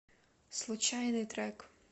случайный трек